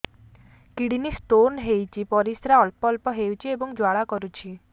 kidney stone ହୋଇଛି ପରିସ୍ରା ଅଳ୍ପ ଅଳ୍ପ ହେଉଛି ଏବଂ ଜ୍ୱାଳା କରୁଛି